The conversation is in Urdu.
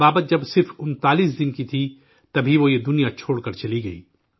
ابابت جب صرف انتالیس 39 دن کی تھی، تبھی وہ یہ دنیا چھوڑ کر چلی گئی